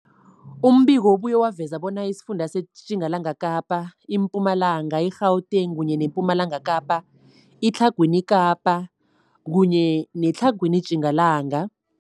Umbiko ubuye waveza bona isifunda seTjingalanga Kapa, seMpumalanga, seGauteng, sePumalanga Kapa, seTlhagwini Kapa neseTlhagwini Tjingalanga.